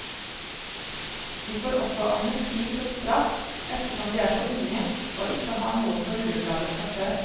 De får også amnesti for straff, ettersom de er så unge, og ikke har noe på rullebladet fra før.